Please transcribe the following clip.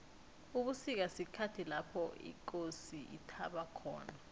ubusika sikhathi lapho ikosi ithaba khona